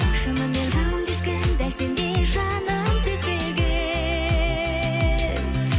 шынымен жанымды ешкім дәл сендей жаным сезбеген